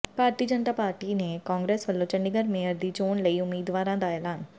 ਭਾਰਤੀ Janata party ਤੇ ਕਾਂਗਰਸ ਵੱਲੋਂ Chandigarh mayor ਦੀ ਚੋਣ ਲਈ ਉਮੀਦਵਾਰਾਂ ਦਾ ਐਲਾਨ